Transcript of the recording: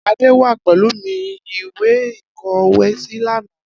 Ade wà pẹlu mi ìwé ìkọwésí lana.